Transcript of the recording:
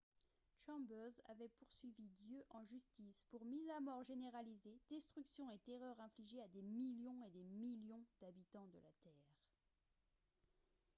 chambers avait poursuivi dieu en justice pour « mise à mort généralisée destruction et terreur infligées à des millions et des millions d'habitants de la terre. »